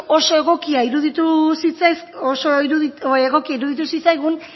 oso egokiak iruditu zitzaigun